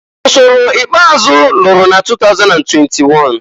Ọsọrọ ikpeazụ lụrụ na 2021.